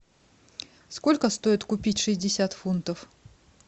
сколько стоит купить шестьдесят фунтов